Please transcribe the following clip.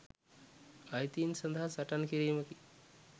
අයිතීන් සදහා සටන් කිරීමකි.